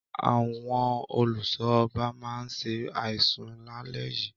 Àwọn olùṣọ́ ọba ma ṣe àìsùn lálé yìí